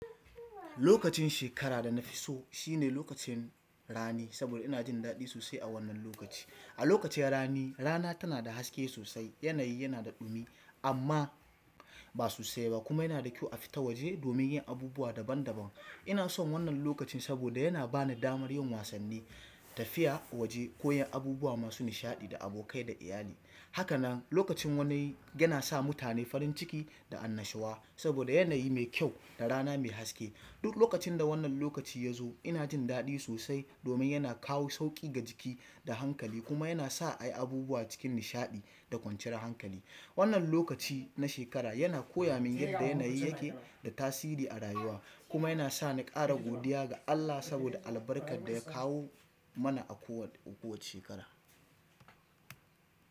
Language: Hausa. Lokacin shekara da na fi so shine lokacin rani, saboda ina jin daɗi sosai a wannan lokaci. A lokacin rani, rana tana da haske sosai, yanayi yana da ɗumi amma ba sosai ba kuma yana da kyau a fita waje domin yin abubuwa daban-daban. Ina son wannan lokacin saboda yana ba ni damar yin wasanni, tafiya waje koyan abubuwa masu nishaɗi da abokai da iyali. Haka nan lokacin wani yana sa mutane farin ciki da annashuwa saboda yanayi mai kyau da rana mai haske. Duk lokacin da wannan lokaci ya zo ina jin daɗi sosai domin yana kawo sauƙi ga jiki da hankali kuma yana sa a yi abubuwa cikin nishaɗi da kwanciyar hankali. Wannan lokaci na shekara yana koya min yadda yanayi yake da tasiri a rayuwa kuma yana sa ni ƙara godiya ga Allah saboda albarkar da ya kawo mana a kowace shekara.